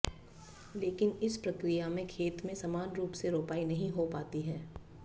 लेकिन इस प्रक्रिया में खेत में समान रूप से रोपाई नहीं हो पाती है